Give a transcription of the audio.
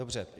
Dobře.